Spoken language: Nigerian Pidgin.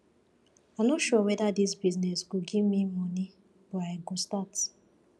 i no sure weda dis business go give me moni but i go start